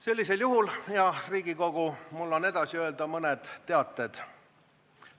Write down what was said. Sellisel juhul, hea Riigikogu, on mul edasi öelda mõned teated.